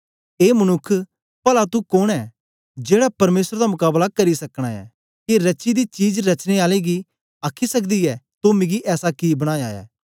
ए मनुक्ख पला तू कोन ऐ जेड़ा परमेसर दा मकाबला करी सकना ऐ के रची दी चीज रचने आले गी आखी सकदी ऐ तो मिगी ऐसा कि बनाया ऐ